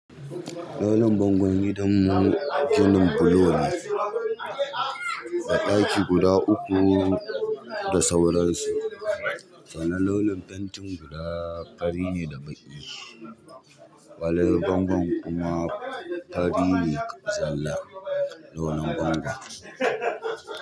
Launi bangon gidanmu ginin bulo ne, da ɗaki guda uku, da sauransu. Sanan launin fentin guda fari ne da baƙi, alalen bangon kuma faɗi ne zalla. Launin bango.